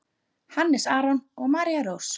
Hannes Aron og María Rós.